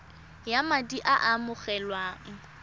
ya madi a a amogelwang